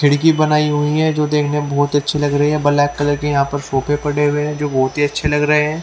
खिड़की बनाई हुई है जो देखने में बहोत ही अच्छी लग रही है बलेक कलर के यहाँ पे सोफे पड़े हुए है जो बहोत ही अच्छे लग रहे है।